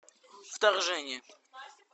вторжение